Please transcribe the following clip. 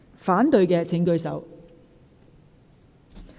反對的請舉手。